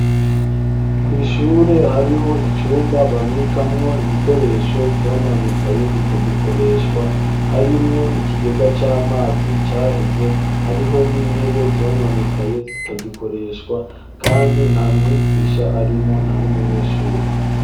Kw'ishure, hariho icumba, babikamwo ibikoresho vyononekaye, bitagikoreshwa; harimwo ikigega c'amazi, caheze, hariho n'intebe, zononekaye, zitagikoreshwa; kandi, nta mwigisha arimwo, nta n'umunyeshure.